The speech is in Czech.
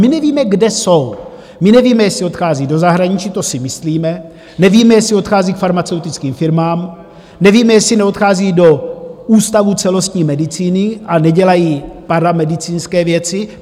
My nevíme, kde jsou, my nevíme, jestli odchází do zahraničí - to si myslíme, nevíme, jestli odchází k farmaceutickým firmám, nevíme, jestli neodchází do Ústavu celostní medicíny a nedělají paramedicínské věci.